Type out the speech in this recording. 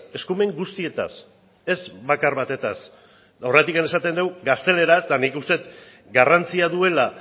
eskumen guztietaz ez bakar batetaz eta horregatik esaten dugu gazteleraz eta nik uste dut garrantzia duela